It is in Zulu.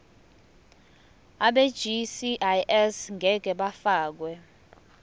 abegcis ngeke bafakwa